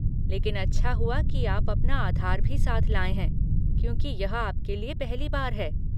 लेकिन अच्छा हुआ कि आप अपना आधार भी साथ लाए हैं क्योंकि यह आपके लिए पहली बार है।